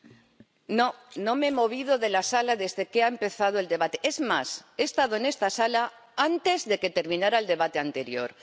Señora presidenta, no, no me he movido de la sala desde que ha empezado el debate. Es más, he estado en esta sala antes de que terminara el debate anterior.